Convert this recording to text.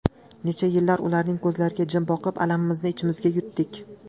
Necha yillar ularning ko‘zlariga jim boqib, alamimizni ichimizga yutdik.